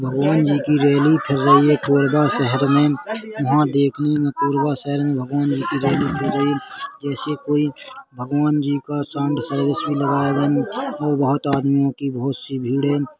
भगवान जी की रैली फिर रही है कोरबा शहर में वहाँ देखने में कोरबा शहर में भगवान जी की रैली जैसे कोई भगवान जी का और बहोत आदमियों की बहुत सी भीड़ है।